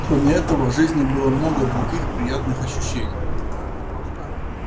кроме этого в жизни было много других приятных ощущений